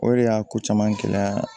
O de y'a ko caman gɛlɛya